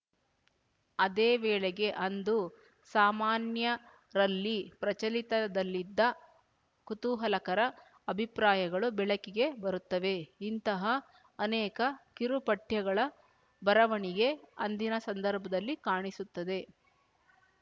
ಅದೇ ವೇಳೆಗೆ ಅಂದು ಸಾಮಾನ್ಯರಲ್ಲಿ ಪ್ರಚಲಿತದಲ್ಲಿದ್ದ ಕುತೂಹಲಕರ ಅಭಿಪ್ರಾಯಗಳು ಬೆಳಕಿಗೆ ಬರುತ್ತವೆ ಇಂತಹಾ ಅನೇಕ ಕಿರು ಪಠ್ಯಗಳ ಬರವಣಿಗೆ ಅಂದಿನ ಸಂದರ್ಭದಲ್ಲಿ ಕಾಣಿಸುತ್ತದೆ